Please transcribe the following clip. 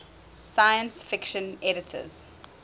science fiction editors